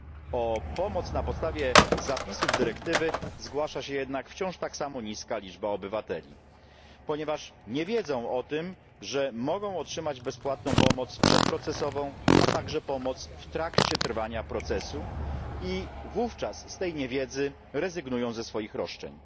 O pomoc na podstawie zapisów dyrektywy zgłasza się jednak wciąż tak samo niska liczba obywateli, ponieważ nie wiedzą o tym, że mogą otrzymać bezpłatną pomoc przedprocesową, a także pomoc w trakcie trwania procesu, i z niewiedzy rezygnują ze swoich roszczeń.